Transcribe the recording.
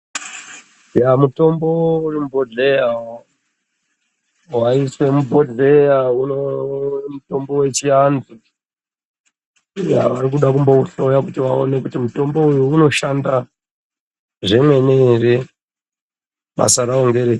Eya mitombo urimubhohleya waiswe mubhohleya uno mutombo wechiantu. Eya varikude kumbouhloya kuti vaone kuti mutombo uyu unoshanda zvemene here, basa rawo nderei.